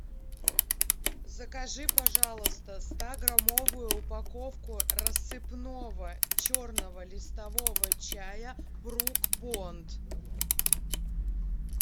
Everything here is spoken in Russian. закажи пожалуйста стаграммовую упаковку рассыпного черного листового чая брук бонд